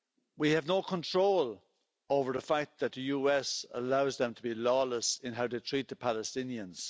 We have no control over the fact that the US allows them to be lawless in how they treat the Palestinians.